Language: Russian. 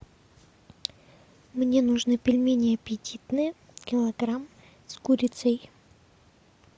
мне нужны пельмени аппетитные килограмм с курицей